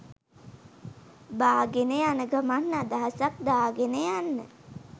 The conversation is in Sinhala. බාගෙන යන ගමන් අදහසක් දාගෙන යන්න